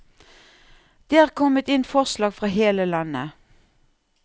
Det er kommet inn forslag fra hele landet.